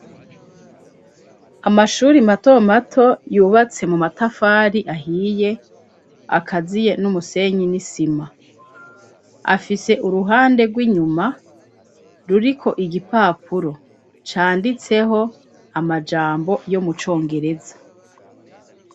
Amashuri mato mato yubatse mu matafari ahiye, akaziye n'umusenyi n'isima. Afise uruhande rw'inyuma ruriko igipapuro canditseho amajambo yo mu congereza.